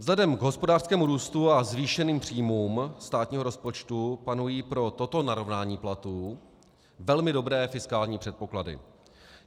Vzhledem k hospodářskému růstu a zvýšeným příjmům státního rozpočtu panují pro toto narovnání platů velmi dobré fiskální předpoklady.